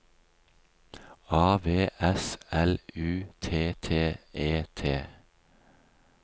A V S L U T T E T